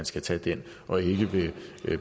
skal tage den og ikke ved